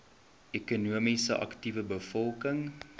ekonomies aktiewe bevolking